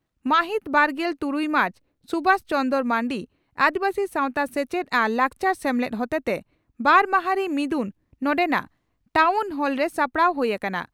ᱢᱟᱦᱤᱛ ᱵᱟᱨᱜᱮᱞ ᱛᱩᱨᱩᱭ ᱢᱟᱨᱪ(ᱥᱩᱵᱷᱟᱥ ᱪᱚᱱᱫᱽᱨᱚ ᱢᱟᱱᱰᱤ) ᱺ ᱟᱹᱫᱤᱵᱟᱹᱥᱤ ᱥᱟᱣᱛᱟ ᱥᱮᱪᱮᱫ ᱟᱨ ᱞᱟᱠᱪᱟᱨ ᱥᱮᱢᱞᱮᱫ ᱦᱚᱛᱮᱛᱮ ᱵᱟᱨ ᱢᱟᱦᱟᱨᱤ ᱢᱤᱫᱩᱱ ᱱᱚᱰᱮᱱᱟᱜ ᱴᱟᱣᱱ ᱦᱚᱞᱨᱮ ᱥᱟᱯᱲᱟᱣ ᱦᱩᱭ ᱟᱠᱟᱱᱟ ᱾